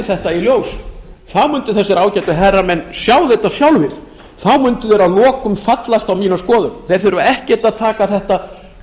þetta í ljós þá myndu þessir ágætu herramenn sjá þetta sjálfir þá myndu þeir að lokum fallast á mína skoðun þeir þurfa ekkert að taka þetta